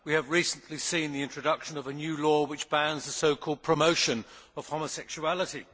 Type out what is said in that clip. We have recently seen the introduction of a new law which bans the so called promotion of homosexuality'.